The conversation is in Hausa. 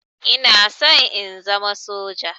Ina son in zama soja.